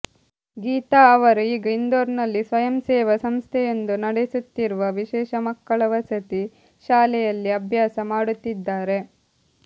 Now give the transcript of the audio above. ಗೀತಾ ಅವರು ಈಗ ಇಂದೋರ್ನಲ್ಲಿ ಸ್ವಯಂಸೇವಾ ಸಂಸ್ಥೆಯೊಂದು ನಡೆಸುತ್ತಿರುವ ವಿಶೇಷ ಮಕ್ಕಳ ವಸತಿ ಶಾಲೆಯಲ್ಲಿ ಅಭ್ಯಾಸ ಮಾಡುತ್ತಿದ್ದಾರೆ